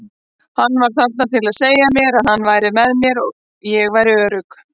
Hann var þarna til að segja mér að hann væri með mér, ég væri örugg.